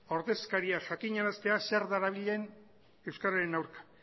ordezkaria jakinaraztea zer darabilen euskaren aurka